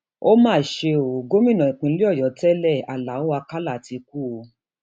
ó mà um ṣe ò gómìnà ìpínlẹ ọyọ tẹlẹ aláọ um àkàlà ti kú o